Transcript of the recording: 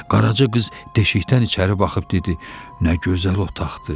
Qaraca qız deşikdən içəri baxıb dedi: Nə gözəl otaqdır!